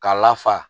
K'a lafa